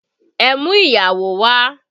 Ẹ mú ìyàwó wà!